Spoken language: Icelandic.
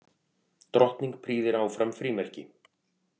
Drottning prýðir áfram frímerki